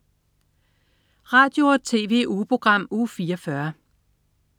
Radio- og TV-ugeprogram Uge 44